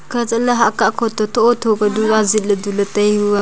khah chahla hah kah thotho ka du ajit le du le tai hu aa.